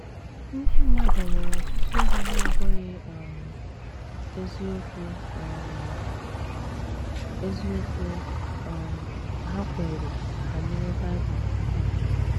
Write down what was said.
“ Ndị mmadụ nwere ọtụtụ ihe na - abụghị um eziokwu um eziokwu um ha kweere banyere Bible um.